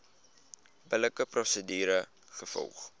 billike prosedure gevolg